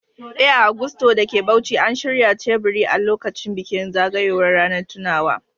Eh, a Gusto da ke Bauchi, an shirya teburi a lokacin bikin zagayowar ranar tunawa.